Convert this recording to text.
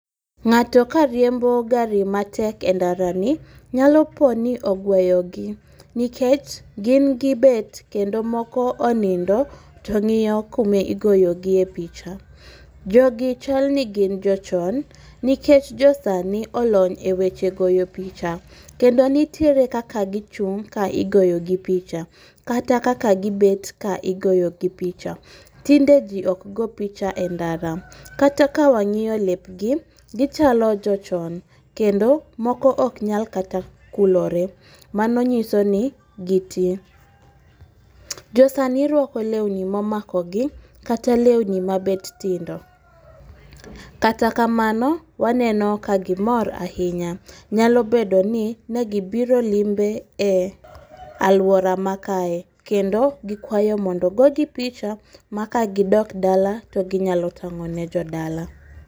Ng'ato kariembo gari matek e ndarani, nyalo po ni ogweyo gi nikech gin gibet kendo moko onindo to ng'iyo kumi goyogie picha. Jogi chalni gin jochon niklech josani olony e eweche goyo picha kendo nitiere kaka gichung' ka igoyogi picha kata kaka gibet ka igoyogi picha. Tinde ji ok go picha e ndara. Kata ka wang'iyo lepgi, kendo moko ok nyal kata kulore, mano nyiso ni giti. Josani rwako lewni momakogi kata lewni mabet tindo. Kata kamano waneno ka gimor ahinya, nyalo bedo ni negibiro limbe e alwora ma kae, kendo gikwayo mondo ogogi picha ma ka gidok dala to ginyalo tang'o ne jodala.